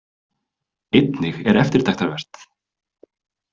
Einnig er eftirtektarvert.